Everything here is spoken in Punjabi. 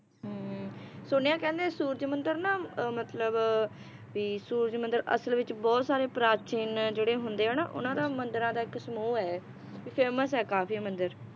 ਹਮ ਸੁਣਿਆ ਕਹਿੰਦੇ ਸੂਰਜ ਮੰਦਿਰ ਨਾ ਅਹ ਮਤਲਬ ਵੀ ਸੂਰਜ ਮੰਦਿਰ ਅਸਲ ਵਿਚ ਬਹੁਤ ਸਾਰੇ ਪ੍ਰਾਚੀਨ ਜਿਹੜੇ ਹੁੰਦੇ ਆ ਨਾ ਉਹਨਾਂ ਦਾ ਮੰਦਿਰਾਂ ਦਾ ਇੱਕ ਸਮੂਹ ਹੈ ਵੀ famous ਹੈ ਕਾਫੀ ਇਹ ਮੰਦਿਰ